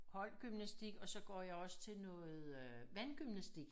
Holdgymnastik og så går jeg også til noget øh vandgymnastik